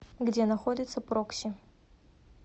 где находится прокси